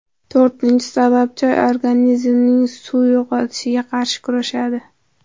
To‘rtinchi sabab Choy organizmning suv yo‘qotishiga qarshi kurashadi.